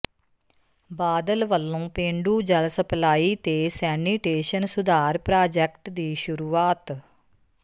ਬਾਦਲ ਵੱਲੋਂ ਪੇਂਡੂ ਜਲ ਸਪਲਾਈ ਤੇ ਸੈਨੀਟੇਸ਼ਨ ਸੁਧਾਰ ਪ੍ਰਾਜੈਕਟ ਦੀ ਸ਼ੁਰੂਆਤ